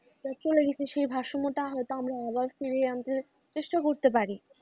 টা চলে গেছে সেই ভারসম্য টা হয়তো আমরা আবার ফিরিয়ে আনতে চেষ্টা করতে পারি।